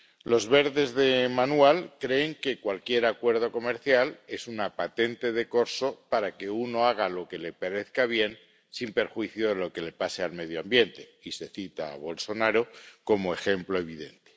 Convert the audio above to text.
Los verdes de manual creen que cualquier acuerdo comercial es una patente de corso para que uno haga lo que le parezca bien, sin perjuicio de lo que le pase al medio ambiente, y se cita a Bolsonaro como ejemplo evidente.